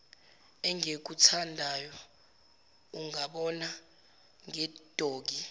engikuthandayo ungabona ngedoggy